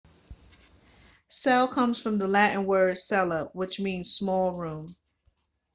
cell comes from the latin word cella which means small room